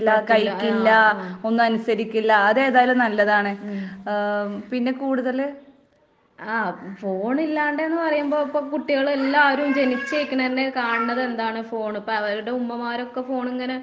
പറ്റില്ല ആഹ്. ഉം. ആഹ് ഫോണില്ലാണ്ടേന്ന് പറയുമ്പോ ഇപ്പ കുട്ടികളെല്ലാരും ജനിച്ച് നിക്കണതന്നെ കാണണതെന്താണ് ഫോണ്. ഇപ്പ അവരുടെ ഉമ്മമാരൊക്കെ ഫോണിങ്ങനെ